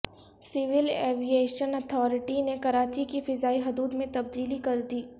civil aviation authority نے کراچی کی فضائی حدود میں تبدیلی کر دی